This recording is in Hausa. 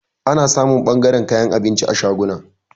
Ana samun ɓangaran kayan abinci a shaguna.